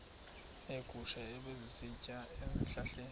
neegusha ebezisitya ezihlahleni